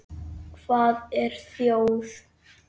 Hvað er þjóð?